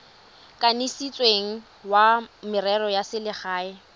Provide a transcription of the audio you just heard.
kanisitsweng wa merero ya selegae